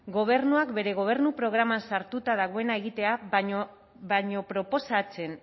gobernuak bere gobernu programan sartuta dagoena egitea baino proposatzen